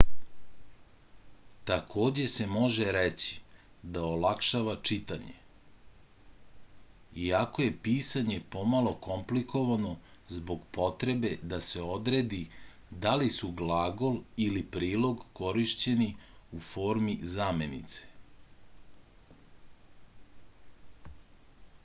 takođe se može reći da olakšava čitanje iako je pisanje pomalo komplikovano zbog potrebe da se odredi da li su glagol ili prilog korišćeni u formi zamenice